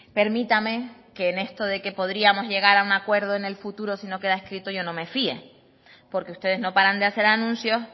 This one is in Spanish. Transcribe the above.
permítame que en esto de que podríamos llegar a un acuerdo en el futuro si no queda escrito yo no me fíe porque ustedes no paran de hacer anuncios